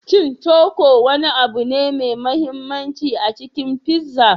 Shin cuku wani abu ne mai mahimmanci a cikin pizza?